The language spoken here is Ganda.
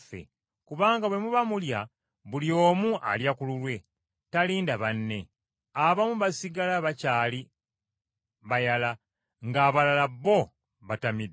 Kubanga bwe muba mulya buli omu alya ku lulwe, talinda banne. Abamu basigala bakyali bayala, ng’abalala bo batamidde.